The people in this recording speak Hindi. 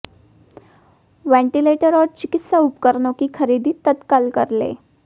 वेंटीलेटर और चिकित्सा उपकरणों की खरीद तत्काल कर लें